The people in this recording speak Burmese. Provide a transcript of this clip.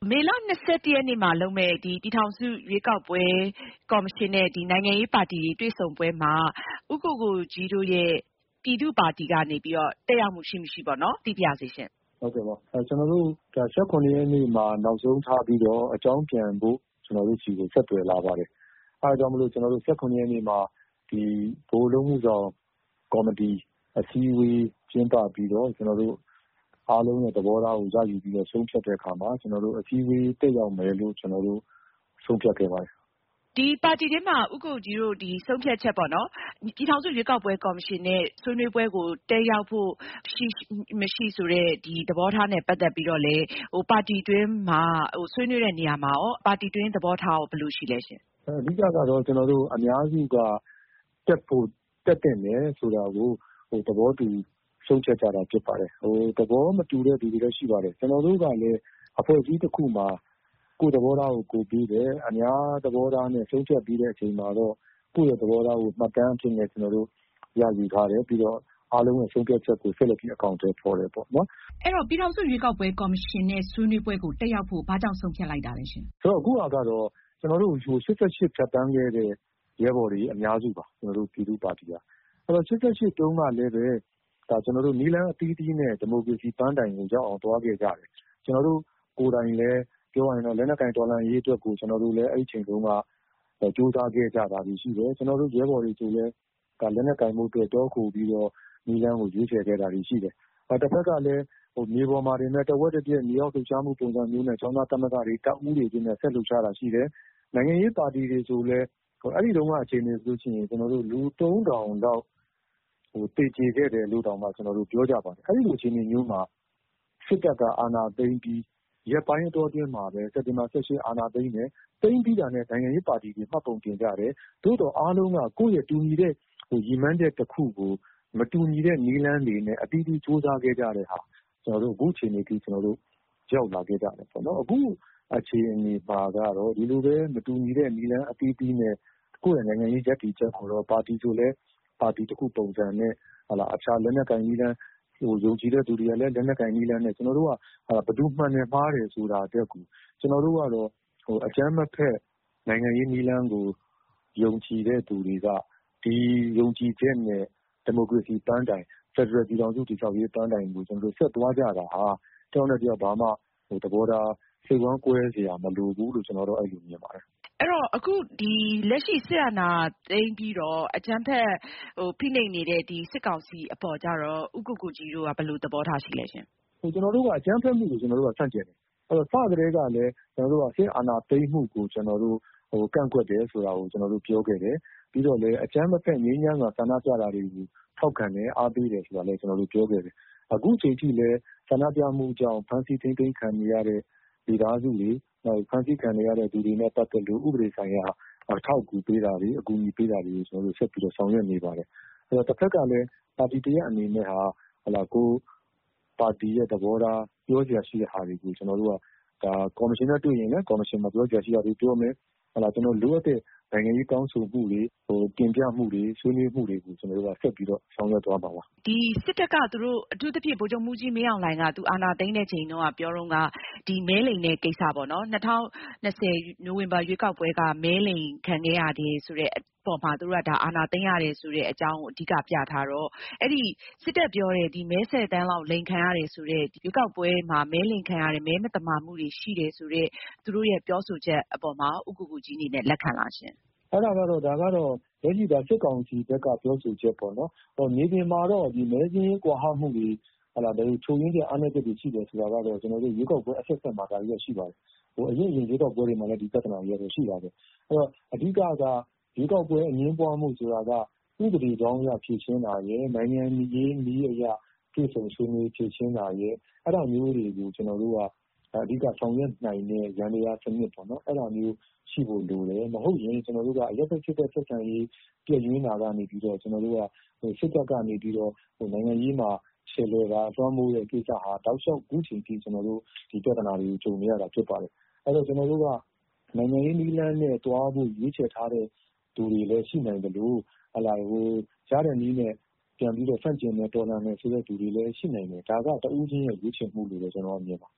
မေလ ၂၁ ရက်နေ့မှာလုပ်မယ့် ပြည်ထောင်စုရွေးကောက်ပွဲကော်မရှင်နဲ့ နိုင်ငံရေးပါတီတွေ တွေ့ဆုံပွဲမှာ ဦးကိုကိုကြီးတို့ရဲ့ ပြည်သူ့ပါတီ ကနေပြီးတော့ တက်ရောက်မှု ရှိမရှိ သိပါရစေရှင့်။ ဟုတ်ကဲ့ပါ ကျနော်တို့ ၁၇ ရက်နေ့မှာ နောက်ဆုံးထားပြီးတော့ အကြောင်းပြန်ဖို့ ကျနော်တို့ဆီကို ဆက်သွယ်လာပါတယ်။ အဲဒါကြောင့်မို့လို့ ၁၇ ရက်နေ့မှာ ကျနော်တို့ ဗဟိုအလုပ်မှုဆောင်ကော်မတီ အစည်းအဝေးကျင်းပပြီးတော့ ကျနော်တို့ အားလုံးသဘောထားကို ရယူပြီးတော့ ဆုံးဖြတ်တဲ့အခါမှာ ကျနော်တို့ အစည်းအဝေး တက်ရောက်မယ်လို့ ကျနော်တို့ ဆုံးဖြတ်ခဲ့ပါတယ်။ ပါတီထဲမှာ ဦးကိုကိုကြီးတို့ဆုံးဖြတ်ချက်ပေါ့နော် ပြည်ထောင်စုရွေးကောက်ပွဲကော်မရှင်နဲ့ ဆွေးနွေးပွဲ တက်ရောက်ဖို့ ရှိမရှိ ဆိုတဲ့ သဘောထားနဲ့ ပတ်သက်ပြီးတော့လည်း ပါတီအတွင်းမှာ ဆွေးနွေးတဲ့နေရာမှာရော ပါတီအတွင်း သဘောထားရော ဘယ်လိုရှိသလဲရှင့်။ အဓိကတော့ ကျနော်တို့ အများစုက တက်သင့်တယ် ဆိုတာကို သဘောတူဆုံးဖြတ်ကြတာဖြစ်ပါတယ်။ သဘောမတူတဲ့လူတွေလည်းရှိပါတယ်။ ကျနေ်ာတို့ကလည်း အဖွဲ့အစည်းတခုမှာ ကိုယ့်သဘောထားကိုယ်ပေးတယ် ၊ အများသဘောထားနဲ့ ဆုံးဖြတ်ပြီးအချိန်မှာတော့ ကိုယ့်သဘောထားကို မှတ်တမ်းအဖြစ်နဲ့ ရယူထားတယ် ပြီးတော့ အားလုံးဆုံးဖြတ်ချက်ကို ဆက်လက်ပြီးတော့ အကောင်အထည်ဖော်တယ်ပေါ့။ အဲဒီတော့ ပြည်ထောင်စုရွေးကောက်ပွဲကော်မရှင်နဲ့ ဆွေးနွေးပွဲ တက်ရောက်ဖို့ ဘာကြောင့် ဆုံးဖြတ်လိုက်တာလဲရှင့်။ ဆိုတော့ အခုဟာကတော့ ကျနော်တို့ ၈၈ ဖြတ်သန်းခဲ့တဲ့ ရဲဘော်တွေ အများစုပါ ကျနေ်ာတို့ ပြည်သူ့ပါတီက ။ ၈၈ တုန်းကလည်း နည်းလမ်းအသီးသီးနဲ့ ဒီမိုကရေစီ ပန်းတိုင်ကိုရောက်အောင်သွားခဲ့ကြတယ်။ ကျနေ်ာတို့ ကိုယ်တိုင်လည်း ပြောရင်တော့ လက်နက်ကိုင်တော်လှန်ရေးအတွက်ကို ကျနော်တို့လည်း အဲဒီအချိန်တုန်းက ကြိုးစားခဲ့ကြတာတွေရှိတယ်။ ကျနော်တို့ ရဲဘော်တွေဆိုရင်လည်း လက်နက်ကိုင်တော်လှန်ရေးအတွက် တောခိုပြီးတော့ နည်းလမ်းကို ရွေးချယ်ခဲ့တာတွေရှိတယ်။ တဖက်ကလည်း မြေပေါ်မှာတင်ပဲ ၊ တဝက်တပြတ် မြေအောက်လှုပ်ရှားမှုပုံစံမျိုးနဲ့ ကျောင်းသားသမဂ္ဂတွေ တပ်ဦးတွေနဲ့ ဆက်လက်လှုပ်ရှားတာရှိတယ်။ အဲဒီတုန်းကအခြေအနေဆိုရင် လူ ၃၀၀၀ လောက်တောင် သေကျေခဲ့တယ်လို့ ပြောကြပါတယ်။ အဲဒီလိုအခြေအနေမျိုးမှာ စစ်တပ်က အာဏာသိမ်းပြီး ရက်ပိုင်းအတွင်းမှာပဲ စက်တင်မှာ ၁၈ ရက်နေ့ အာဏာသိမ်းတယ် သိမ်းပြီးတာနဲ့ နိုင်ငံရေးပါတီတွေ မှတ်ပုံတင်ကြတယ်။ သို့သော်အားလုံးက ကိုယ့်တူညီတဲ့ ရည်မှန်းချက်တခုကို မတူညီတဲ့နည်းလမ်းတွေနဲ့ အသီးသီးကြိုးစားခဲ့တာမှာ ကျနော်တို့ အခုအခြေအနေအထိ ရောက်လာခဲ့ကြတယ်ပေ့ါနော်။ အခုအခြေအနေမှာကတော့ ဒီလိုပဲ မတူညီတဲ့ နည်းလမ်းအသီးသီးနဲ့ ကိုယ့်နိုင်ငံရေးရပ်တည်ချက်၊ ပါတီဆိုရင်လည်း ပါတီတခုပုံစံနဲ့ အခြားလက်နက်ကိုင်နည်းလမ်း ကိုလည်း ယုံကြည်တဲ့သူတွေက လက်နက်ကိုင်နည်းလမ်းနဲ့ ကျနေ်ာတို့က ဘယ်သူ မှန်တယ် မှားတယ် ဆိုတာထက်ကို ကျနော်တို့ကတော့ အကြမ်းမဖက် နိုင်ငံရေးနည်းလမ်းကို ယုံကြည်တဲ့သူတွေက ဒီယုံကြည်ချက်နဲ့ ဒီမိုကရေစီ ပန်းတိုင် ဖယ်ဒရယ်ပြည်ထောင်စု တည်ဆောက်ရေး ပန်းတိုင်ကို ကျနေ်ာတို့ ဆက်သွားကြပါ။ တယောက်နဲ့တယောက် သဘောထား စိတ်ဝမ်းကွဲစရာ မလိုဘူးလို့ ကျနေ်ာကတော့ အဲလိုမြင်ပါတယ်။ အဲဒီတော့ အခုလက်ရှိ စစ်အာဏာသိမ်းပြီးတော့ အကြမ်းဖက် ဖိနှိပ်နေတဲ့ စစ်ကောင်စီအပေါ်ကြတော့ ဦးကိုကိုကြီးတို့က ဘယ်လိုသဘောထားရှိသလဲရှင့်။ ကျနော်တို့က အကြမ်းဖက်မှုကို ဆန့်ကျင်တယ် ၊ စကတည်းကလည်း ကျနော်တို့က စစ်အာဏာသိမ်းမှုကို ကျနော်တို့ ကန့်ကွက်တယ်ဆိုတာကို ကျနော်တို့ ပြောခဲ့တယ်။ ပြီးတော့လည်း အကြမ်းမဖက် ငြိမ်းချမ်းစွာ ဆန္ဒပြတာတွေကို ထောက်ခံတယ် အားပေးတယ်ဆိုတာလည်း ကျနော်တို့ ပြောခဲ့တယ်။ အခုအချိန်ထိလည်း ဆန္ဒပြမှုကြောင့် ဖမ်းဆီးထိန်းသိမ်းခံနေရတဲ့ မိသားစုတွေ ၊ ဖမ်းဆီးခံနေရတဲ့ လူတွေနဲ့ ပတ်သက်လို့ ဥပဒေဆိုင်ရာ အထောက်အကူပေးတာတွေ အကူအညီပေးတာတွေ ကျနော်တို့ ဆက်ပြီးတော့ ဆောင်ရွက်နေပါတယ်။ တဖက်ကလည်း ပါတီတရပ်အနေနဲ့ ပါတီသဘောထား ပြောစရာရှိတာတွေကို ကျနော်တို့က ကော်မရှင်နဲ့တွေ့ရင်လည်း ကော်မရှင်ကို ပြောစရာရှိတာတွေပြောမယ်။ ကျနော်တို့ လိုအပ်တဲ့ နိုင်ငံရေးတောင်းဆိုမှုတွေ တင်ပြမှုတွေ ဆွေးနွေးမှုတွေကို ဆက်ပြီးတော့ ဆောင်ရွက်သွားမှာပါ။ စစ်တပ်က သူတို့ အထူးသဖြင့် ဗိုလ်ချုပ်မှူးကြီးမင်းအောင်လှိုင်က သူတို့ အာဏာသိမ်းတဲ့အချိန်တုန်းက ပြောတုန်းက ဒီမဲလိမ်တဲ့ကိစ္စပေါ့နော်၊ ၂၀၂၀ နိုဝင်ဘာ ရွေးကောက်ပွဲတုန်းက မဲလိမ်ခံခဲ့ရတယ်ဆိုတဲ့အပေါ်မှာ သူတို့က အာဏာသိမ်းရတယ်ဆိုတဲ့အကြောင်းကို အဓိက ပြထားတော့ အဲဒီ စစ်တပ်ပြောတဲ့ မဲ ၁၀ သန်းလောက် အလိမ်ခံရတယ်ဆိုတဲ့ ရွေးကောက်ပွဲမှာ မဲအလိမ်ခံရတယ် ၊ မဲမသမာမှုတွေရှိတယ်ဆိုတဲ့ သူတို့ရဲ့ ပြောဆိုချက်အပေါ်မှာရော ဦးကိုကိုကြီးအနေနဲ့ လက်ခံသလားရှင့်။ ဒါကတော့ လက်ရှိ စစ်ကောင်စီဘက်က ပြောဆိုချက်ပေါ့နော်။ မြေပြင်မှာတော့ မဲစာရင်းကွာဟမှုတွေ ချို့ယွင်းချက် အားနည်းမှုတွေရှိတယ်ဆိုတာကတော့ ရွေးကောက်ပွဲအဆက်ဆက်မှာ ဒါက ရှိပါတယ်။ ဒီ့အရင် ရွေးကောက်ပွဲတွေမှာလည်း ဒီပြဿနာတွေက ရှိတာပဲ ၊ အဲဒီတော့ အဓိကက ရွေးကောက်ပွဲ အငြင်းပွားမှု ဆိုတာက ဥပဒေကြောင်းအရ ဖြေရှင်းတာရယ်၊ နိုင်ငံရေးနည်းအရ တွေ့ဆုံဆွေးနွေးဖြေရှင်းတာရယ်၊ အဲဒါမျိုးတွေကို ကျနော်တို့က အဓိက ဆောင်ရွက်နိုင်တဲ့ ယန္တရားစနစ် အဲဒါမျိုး ရှိဖို့လိုတယ်။ မဟုတ်ရင် ကျနော်တို့က အရပ်ဘက် စစ်ဘက် ဆက်ဆံရေး ပျက်ယွင်းတာကနေ ကျနော်တို့က စစ်တပ်ကနေပြီးတော့ နိုင်ငံရေးမှာ လွှမ်းမိုးတဲ့ ကိစ္စကနေပြီးတော့ တောက်လောက်အခုအချိန်အထိ ဒီပြဿနာတွေကို ကြုံနေရတာဖြစ်တယ်။ နိုင်ငံရေးနည်းလမ်းနဲ့ ရွေးချယ်ထားတဲ့ သူတွေလည်းရှိနိုင်သလို ရတဲ့နည်းနဲ့ ပြန်ပြီးတော့ ဆန့်ကျင်တော်လှန်မယ်ဆိုတဲ့ လူတွေလည်း ရှိနိုင်မယ်။ ဒါက တဦးချင်းရဲ့ ရွေးချယ်မှုလို့ ကျနေ်ာမြင်ပါ